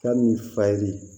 Ka min fa ye